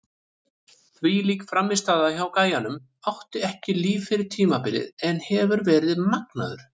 Þvílík frammistaða hjá gæjanum, átti ekki líf fyrir tímabilið en hefur verið magnaður!